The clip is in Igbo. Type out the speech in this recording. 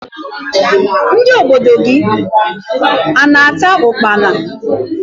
Ndị obodo gị a na-ata ukpala?